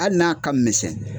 Hali n'a ka misɛn